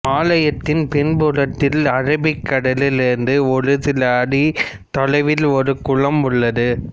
ஆலயத்தின் பின்புறத்தில் அரபிக் கடலில் இருந்து ஒரு சில அடிகள் தொலைவில் ஒரு குளம் உள்ளது